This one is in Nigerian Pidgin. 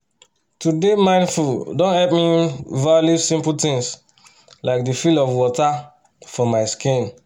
to dey mindful don help me um value simple things like the feel of water for my skin